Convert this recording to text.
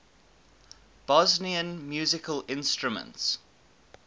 bosnian musical instruments